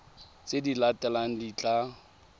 tse di latelang di tla